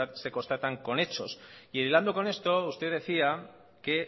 se constatan con hechos e hilando con esto usted decía que